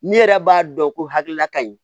Ne yɛrɛ b'a dɔn ko hakilila ka ɲi